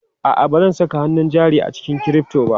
A'a, ba zan saka hannun jari a cikin crypto ba.